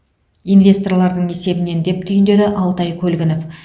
инвесторлардың есебінен деп түйіндеді алтай көлгінов